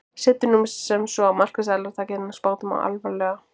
Setjum nú sem svo að markaðsaðilar taki þennan spádóm alvarlega.